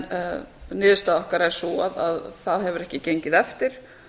en niðurstaða okkar er sú að það hefur ekki gengið eftir